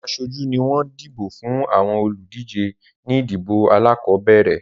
Àwọn aṣojú ni wọ́n dìbò fún àwọn olùdíje ní ìdìbò alákọ̀ọ́bẹ̀rẹ̀